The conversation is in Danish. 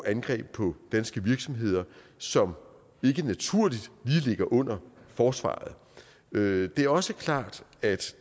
angreb på danske virksomheder som ikke naturligt lige ligger under forsvaret det er også klart at